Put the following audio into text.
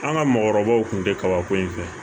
An ka mɔgɔkɔrɔbaw kun tɛ kabako in fɛ